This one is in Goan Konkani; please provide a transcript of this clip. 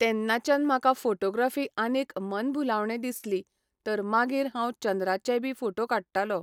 तेन्नाच्यान म्हाका फॉटोग्राफी आनीक मनभुलावणें दिसली तर मागीर हांव चंद्राचे बी फॉटो काडटालो